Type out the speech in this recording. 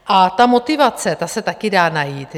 A ta motivace, ta se také dá najít.